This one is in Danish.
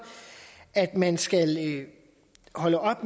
at man skal holde op